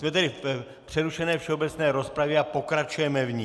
Jsme tedy v přerušené všeobecné rozpravě a pokračujeme v ní.